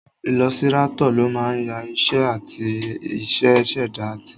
Ilọsirátọ̀ ló máa ń ya iṣẹ́ áàtì àti ṣẹ̀dá áàtì